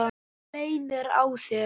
Þú leynir á þér!